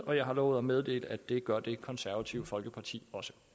og jeg har lovet at meddele at det gør det konservative folkeparti